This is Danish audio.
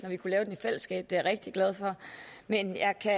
vi kunne lave den i fællesskab det er jeg rigtig glad for men jeg kan